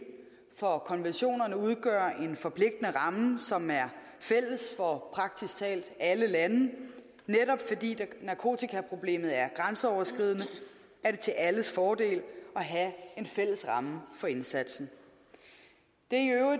for konventionerne udgør en forpligtende ramme som er fælles for praktisk talt alle lande netop fordi narkotikaproblemet er grænseoverskridende er det til alles fordel at have en fælles ramme for indsatsen det